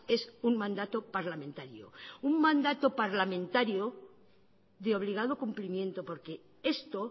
es un mandato parlamentario un mandato parlamentario de obligado cumplimiento porque esto